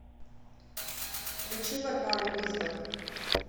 включи варвару визбор